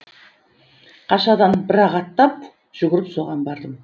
қашадан бір ақ аттап жүгіріп соған бардым